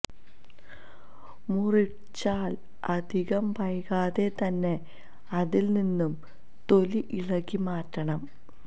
മുറിച്ചാൽ അധികം വൈകാതെ തന്നെ അതിൽ നിന്നും തൊലി ഇളക്കി മാറ്റണം